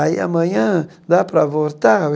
Aí, amanhã, dá para voltar?